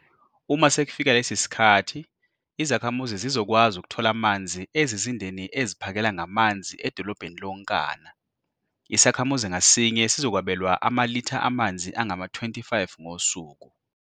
Uma sekufika lesi sikhathi, izakhamuzi zizokwazi ukuthola amanzi ezizindeni eziphakela ngamanzi edolobheni lonkana. Isakhamuzi ngasinye sizokwabelwa amalitha amanzi angama-25 ngosuku.